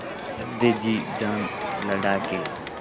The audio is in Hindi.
रख दे जी जान लड़ा के